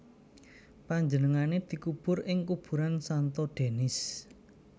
Panjenengané dikubur ing kuburan Santo Denis